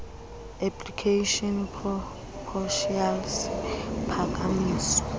application proposal isiphakamiso